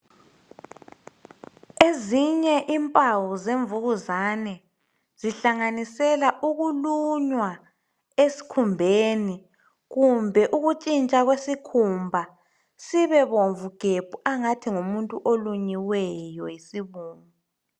Ezinye impawu zemvukuzane zihlanganisela ukulunywa eskhumbeni. Kumbe ukutshintsha kwesikhumba sibebomvu gebhu angathi ngumuntu olunyiweyo yisibungu .